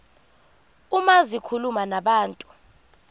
uma zikhuluma nabantu